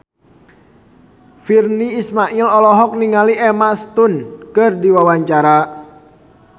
Virnie Ismail olohok ningali Emma Stone keur diwawancara